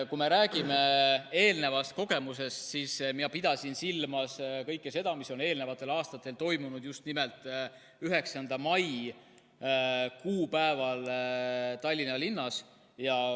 Kui me räägime eelnevast kogemusest, siis ma pidasin silmas kõike seda, mis on eelnevatel aastatel toimunud just nimelt 9. mai kuupäeval Tallinna linnas.